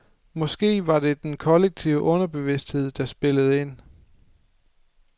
Måske var det den kollektive underbevidsthed, der spillede ind.